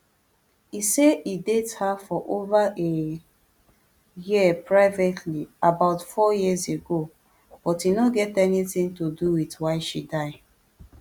e say e date her for ova a year privately about four years ago but e no get anytin to do wit why she die